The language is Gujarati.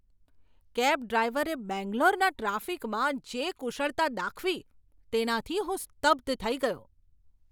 કેબ ડ્રાઈવરે બેંગ્લોરના ટ્રાફિકમાં જે કુશળતા દાખવી તેનાથી હું સ્તબ્ધ થઈ ગયો.